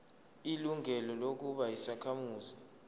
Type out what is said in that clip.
ilungelo lokuba yisakhamuzi